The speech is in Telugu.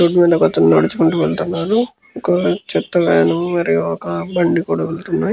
రోడ్డు మీద ఒక అతను నడుచుకుంటూ వెళ్తున్నాడు. ఒక చెత్త వ్యాను మరియు ఒక బండి కూడ వెళ్తున్నాయి.